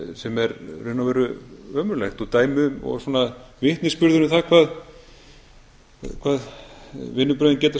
sem er í raun og veru ömurlegt og dæmi og svona vitnisburður um það hvað vinnubrögðin geta